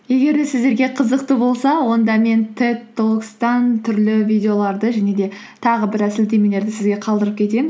егер де сіздерге қызықты болса онда мен түрлі видеоларды және де тағы біраз сілтемелерді сізге қалдырып кетемін